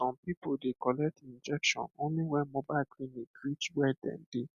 um some people dey collect injection only when mobile clinic reach where dem dey